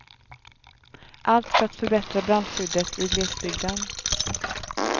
Allt för att förbättra brandskyddet i glesbygden.